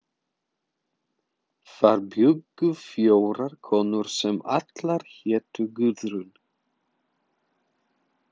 Þar bjuggu fjórar konur sem allar hétu Guðrún.